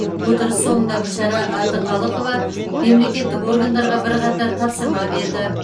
отырыс соңында гүлшара әбдіқалықова мемлекеттік органдарға бірқатар тапсырма берді